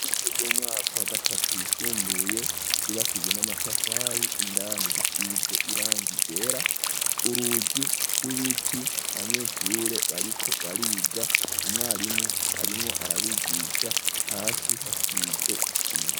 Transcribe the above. Ishure ry'umwaka wa gatatu yisumbuye ryubakijwe n'amatafari indani risize irangi ryera urugi rw'ibiti abanyeshure bariko bariga umwarimu arimwo arabigisha hasi hasize isima.